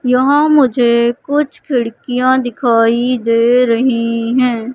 यहाँ मुझे कुछ खिड़कियाँ दिखाई दे रही हैं।